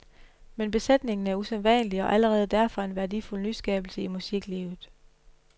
Men besætningen er usædvanlig og allerede derfor en værdifuld nyskabelse i musiklivet.